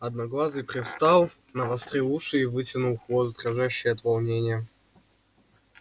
одноглазый привстал навострил уши и вытянул хвост дрожащий от волнения